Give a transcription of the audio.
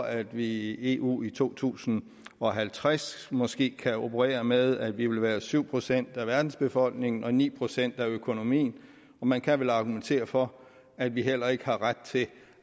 at vi i eu i to tusind og halvtreds måske kan operere med at vi vil være syv procent af verdensbefolkningen og ni procent af økonomien og man kan vel argumentere for at vi heller ikke har ret til